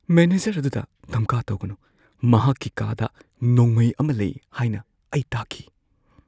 Manager ꯑꯗꯨꯗ ꯙꯝꯀꯥ ꯇꯧꯒꯅꯨ꯫ ꯃꯍꯥꯛꯀꯤ ꯀꯥꯗ ꯅꯣꯡꯃꯩ ꯑꯃ ꯂꯩ ꯍꯥꯏꯅ ꯑꯩ ꯇꯥꯈꯤ꯫